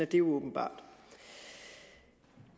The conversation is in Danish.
det åbenbart